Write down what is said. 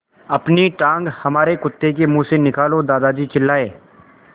अपनी टाँग हमारे कुत्ते के मुँह से निकालो दादाजी चिल्लाए